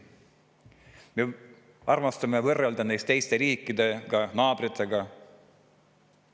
Me armastame võrrelda end teiste riikidega, naabritega.